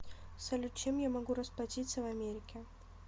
салют чем я могу расплатиться в америке